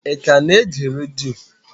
Ị ka na-ege redio?